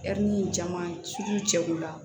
caman cɛ ko la